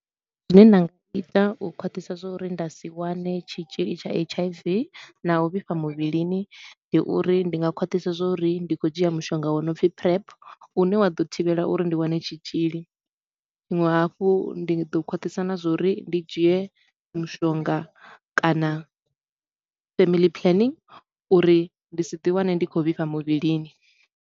Zwine nda nga ita u khwaṱhisa zwa uri nda si wane tshitshili tsha H_I_V na u vhifha muvhilini, ndi uri ndi nga khwaṱhisa zwa uri ndi khou dzhia mushonga wo no pfi PrEP u ne wa ḓo thivhela uri ndi wane tshitshili. Tshiṅwe hafhu ndi ḓo khwaṱhisa na zwa uri ndi dzhie mushonga kana family planning uri ndi si ḓi wane ndi khou vhifha muvhilini.